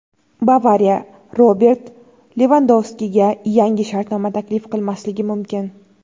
"Bavariya" Robert Levandovskiga yangi shartnoma taklif qilmasligi mumkin.